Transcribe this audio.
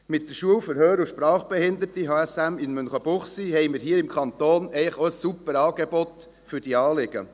Mit dem HSM haben wir hier im Kanton eigentlich auch ein super Angebot für diese Anliegen.